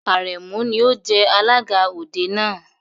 Àrẹ̀mú ni ó jẹ alága òde náà.